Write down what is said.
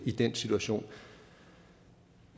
i den situation